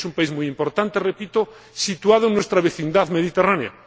Es un país muy importante, repito, situado en nuestra vecindad mediterránea.